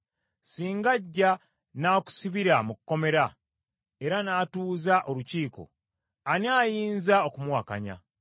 “Singa ajja n’akusibira mu kkomera era n’atuuza olukiiko, ani ayinza okumuwakanya?